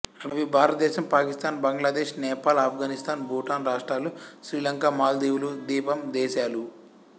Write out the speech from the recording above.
అవి భారతదేశం పాకిస్తాన్ బంగ్లాదేశ్ నేపాల్ ఆఫ్గనిస్తాన్ భూటాన్ రాష్ట్రాలు శ్రీలంక మాల్దీవులు ద్వీపం దేశాలు